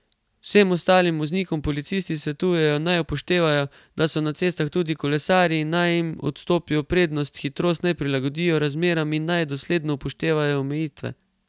Vsem ostalim voznikom policisti svetujejo, naj upoštevajo, da so na cestah tudi kolesarji, in naj jim odstopijo prednost, hitrost naj prilagodijo razmeram in naj dosledno upoštevajo omejitve.